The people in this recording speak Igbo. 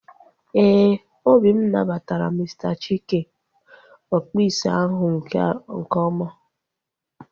Éè, obi m nabatara Mr Chike, ọkpụ isi ahu nke ọma